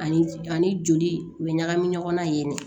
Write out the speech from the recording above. Ani ani joli u bɛ ɲagami ɲɔgɔn na yen